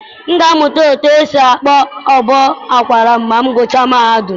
M ga-amụta otú e si akpọ ụbọ akwara ma m gụchaa mahadum.